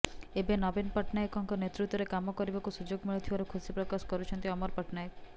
ଏବେ ନବୀନ ପଟ୍ଟନାୟକଙ୍କ ନେତୃତ୍ୱରେ କାମ କରିବାକୁ ସୁଯୋଗ ମିଳିଥିବାରୁ ଖୁସି ପ୍ରକାଶ କରିଛନ୍ତି ଅମର ପଟ୍ଟନାୟକ